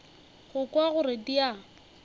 go kwa gore di a